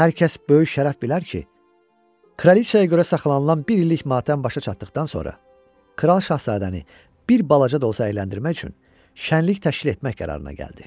Hər kəs böyük şərəf bilər ki, kraliça görə saxlanılan bir illik matəm başa çatdıqdan sonra kral şahzadəni bir balaca da olsa əyləndirmək üçün şənlik təşkil etmək qərarına gəldi.